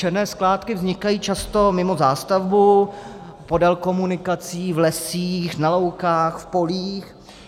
Černé skládky vznikají často mimo zástavbu, podél komunikací, v lesích, na loukách, v polích.